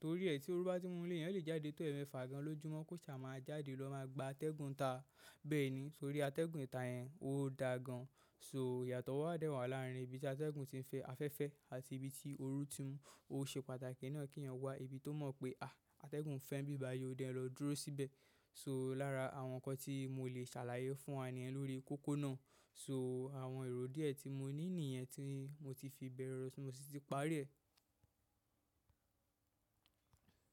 torí ẹ̀ tí oru bá ti mú nile eyan lè jáde tó ẹ̀mẹfà gan ló jùmọ́ kó ṣà máa jáde lọ máa gba atẹ́gùn ta bẹ́ẹ̀ni torí atẹ́gùn ìta yẹn ó da gan. So, iyato wa de wa larin ibi ti ategun ti n fe, afẹ́fẹ́ àti ibi ti oru ti n mu. O se pàtàkì na ki ènìyàn wa ibi ti o mo pe ategun fe nibi bayi o, je ki n lo dúró síbẹ̀ so lára àwọn ǹkan tí mo lè ṣàlàyé fún wa nìyen lórí kókó náà so àwọn èrò díẹ̀ tí mo ní nìyẹn tí mo ti fi bẹ̀rẹ̀, ti mo sì ti parí ẹ̀.